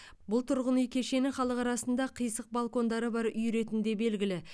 бұл тұрғын үй кешені халық арасында қисық балкондары бар үй ретінде белгілі